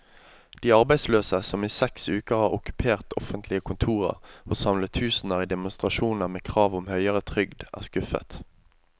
De arbeidsløse, som i seks uker har okkupert offentlige kontorer og samlet tusener i demonstrasjoner med krav om høyere trygd, er skuffet.